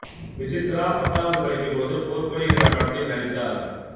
விசித்ரா பத்தாவது படிக்கும் பொழுது போர்க்கொடி என்ற படத்தில் நடித்தார்